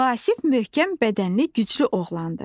Vasif möhkəm bədənli güclü oğlandır.